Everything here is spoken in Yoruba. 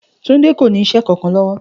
Túndé kò ní is̩é̩ kankan ló̩wó̩